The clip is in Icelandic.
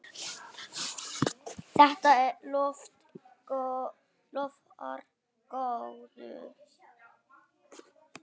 Þetta lofar góðu.